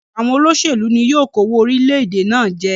Òpòlopò àwon olósèlú ni yio kówó orílẹ̀dè náà je